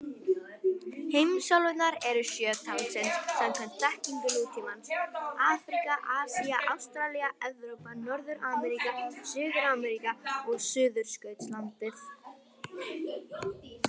Heimsálfurnar eru sjö talsins samkvæmt þekkingu nútímans: Afríka, Asía, Ástralía, Evrópa, Norður-Ameríka, Suður-Ameríka og Suðurskautslandið.